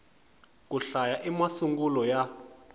ku hlaya i masungulo ya